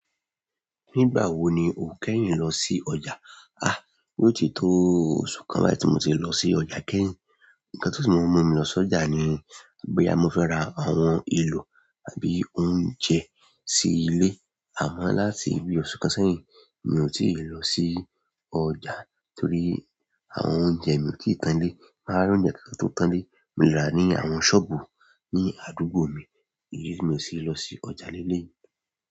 Nígbà wo ni o kẹ́yìn lọ sí ọjà? Ah, yóò tí tó oṣù kan bái ti mo ti lọ sí ọjà kẹ́yìn. Ǹkan tí ń mú mi lọ sí ọjà ni bóyá mo fẹ́ ra àwọn èlò tàbí oúnjẹ sí ilé. Àmọ́, láti ibi oṣù kan sẹ́yìn, mi ò tí ì lọ sí ọjà torí àwọn oúnjẹ mi kì í tán lé. Máa ń ra oúnjẹ kí kan tó tán lé. Mo le rà á ní àwọn ṣọ́ọ̀bù ní àdúgbò mi. Idí ti mi ó ṣe é lọ sí ọjà lélé.